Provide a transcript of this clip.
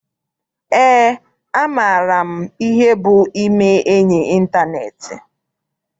Eé, amaara m ihe bụ ime enyi nke ịntaneetị.